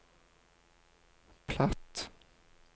platt